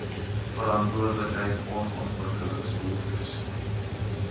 verantwoordelikheid on ontwikkelingsbehoeftes